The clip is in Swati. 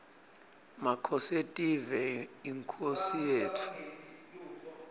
makhosetive yinkhosi yetfu